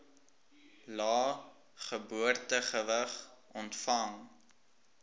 lae geboortegewig ontvang